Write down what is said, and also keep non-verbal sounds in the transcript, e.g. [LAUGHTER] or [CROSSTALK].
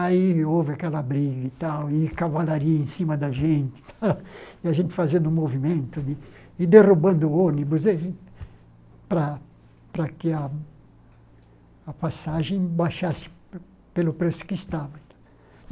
Aí houve aquela briga e tal, e cavalaria em cima da gente, [LAUGHS] e a gente fazendo um movimento de e derrubando o ônibus [UNINTELLIGIBLE] para para que a a passagem baixasse pelo preço que estava.